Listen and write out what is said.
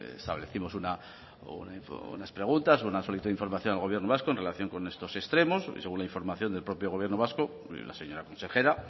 establecimos unas preguntas unas solicitud de información al gobierno vasco en relación con estos extremos y según la información del propio gobierno vasco la señora consejera